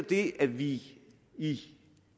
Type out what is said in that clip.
det at vi i